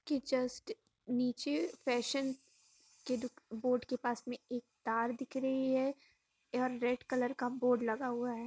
के जस्ट नीचे फैशन के दुक- बोर्ड के पास में एक तार दिख रही है यहाँ रेड कलर का बोर्ड लगा हुआ है।